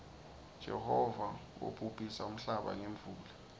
jehova wobhubhisa nmhlaba ngemuula